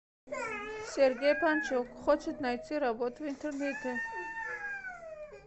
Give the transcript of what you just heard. сергей панчук хочет найти работу в интернете